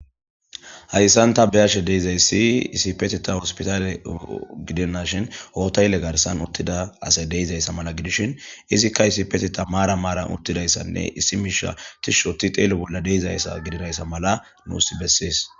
hayssanta biyashe deizayssi isipeteta hospitaale gidennashin hootaylle garsan uttida asay deizayssa mala gidishin izikka isipeteta maara maaran uttidayssanne issi miisha tishoti xeelo bolla deizayssa gidirayssa mala nuus bessees